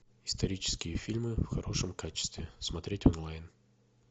исторические фильмы в хорошем качестве смотреть онлайн